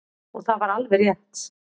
Og það var alveg rétt.